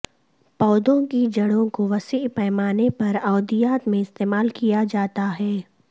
پودوں کی جڑوں کو وسیع پیمانے پر ادویات میں استعمال کیا جاتا ہے